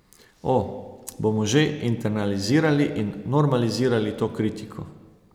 O, bomo že internalizirali in normalizirali to kritiko.